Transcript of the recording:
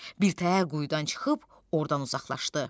Birtəhər quyudan çıxıb ordan uzaqlaşdı.